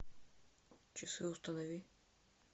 часы установи